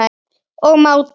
og mátar.